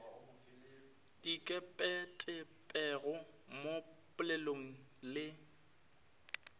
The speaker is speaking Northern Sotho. di ikepetpego mo polelong le